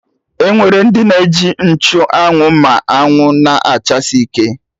Ọnwere ndị na-eji nchụ anwụ ma anwụ na-achasi ike